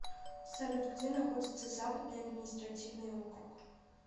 салют где находится западный административный округ